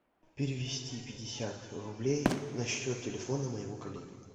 перевести пятьдесят рублей на счет телефона моего коллеги